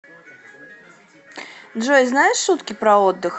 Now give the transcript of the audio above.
джой знаешь шутки про отдых